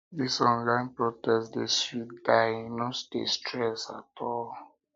um dis online protest dey um sweet die e no dey stress um at all